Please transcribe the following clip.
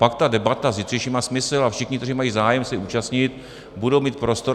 Pak ta debata zítřejší má smysl a všichni, kteří mají zájem se zúčastnit, budou mít prostor.